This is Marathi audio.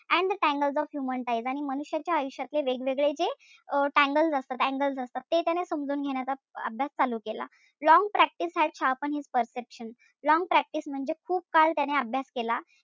And the tangles of human ties आणि मनुष्याची आयुष्यातले वेगवेगळे जे अं tangles असतात ते समजून घेण्याचा अभ्यास चालू केला. Long practice had sharpened his perception long practice म्हणजे खूप काळ त्याने अभ्यास केला